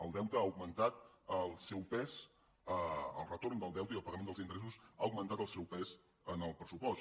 el deute ha augmentat el seu pes el retorn del deute i el pagament dels interessos han augmentat el seu pes en el pressupost